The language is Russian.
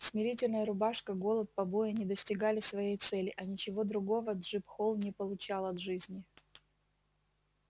смирительная рубашка голод побои не достигали своей цели а ничего другого джим холл не получал от жизни